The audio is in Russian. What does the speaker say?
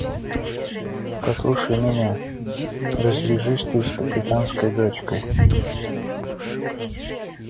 послушай меня развяжись ты с капитанскою дочкой